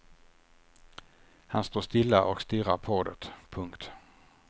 Han står stilla och stirrar på det. punkt